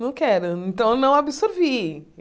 Não quero, então eu não absorvi.